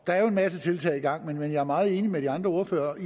der er jo en masse tiltag i gang men jeg er meget enig med de andre ordførere